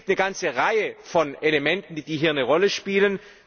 Es gibt eine ganze Reihe von Elementen, die hier eine Rolle spielen.